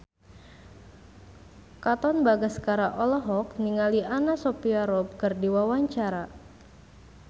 Katon Bagaskara olohok ningali Anna Sophia Robb keur diwawancara